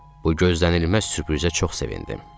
Bu gözlənilməz sürprizə çox sevindim.